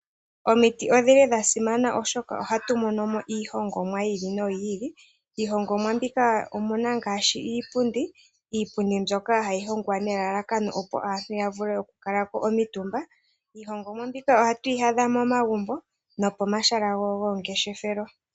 Omiti odhili dhasima oshoka, ohatu hongomo iihongomwa yiili no yiili, iihongomwa mbika omuna ngaashi iipundi. Iipundi oha yi hongwa nelalakano opo aantu yakatumbeko niihongomwa mbika ohatu yaadha momagumbo no pomahala gomalandithilo.